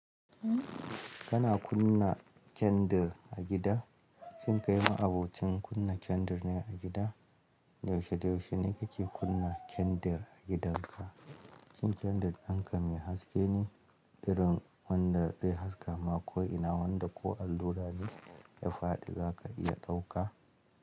Kana kunna kyandir a gida? Shin kai ma abocin kunna kandir ne a gida? Yaushe-yaushe ne kake kunna kandir a gidanka? Shin kyandir dinka mai haske ne irin wanda zai haskaka ma ko'ina wanda ko allura ne ya faɗi za ka iya ɗauka?